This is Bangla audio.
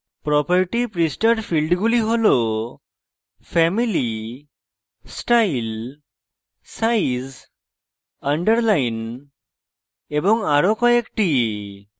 property পৃষ্ঠার ফীল্ডগুলি হলfamily style size underline এবং আরো কয়েকটি